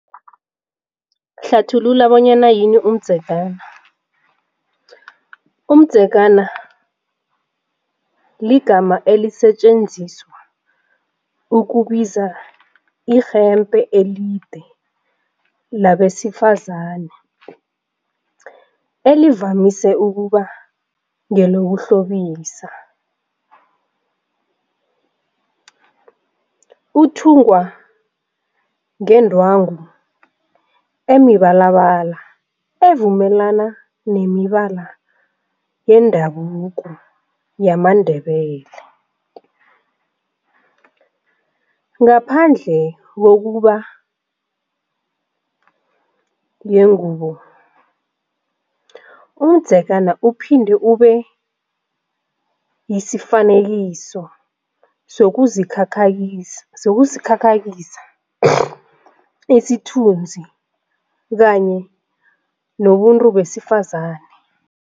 Hlathulula bonyana yini umdzegana. Umdzegana ligama elisetjenziswa ukubiza irhembhe elide labesifazane elivamise ukuba ngelokuhlobisa, uthungwa ngendwango emibalabala evumelana nemibala yendabuko yamaNdebele. Ngaphandle kokuba yingubo umdzegana uphinde ube yisifanekiso sokuzikhakhayisa yokuzikhakhazisa isithunzi kanye nobuntu besifazane.